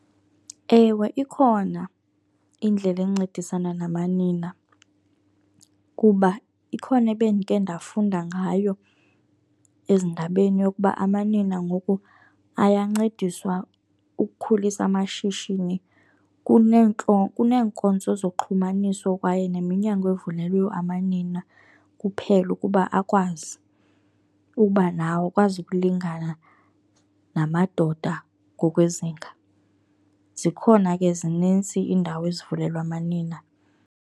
Ewe, ikhona indlela encedisana namanina kuba ikhona ebendike ndafunda ngayo ezindabeni yokuba amanina ngoku ayancediswa ukukhulisa amashishini. Kuneenkonzo zoxhumaniso kwaye neminyango evulelwe amanina kuphela ukuba akwazi uba nawo akwazi ukulingana namadoda ngokwezinga. Zikhona ke zinintsi iindawo ezivulelwe amanina.